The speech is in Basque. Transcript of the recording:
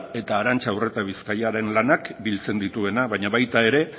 eta arantxa urretabizkaiaren lanak biltzen dituena baina bata ere